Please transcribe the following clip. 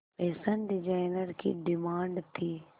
fashion designer की demand थी